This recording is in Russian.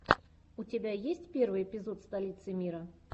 у тебя есть первый эпизод столицы мира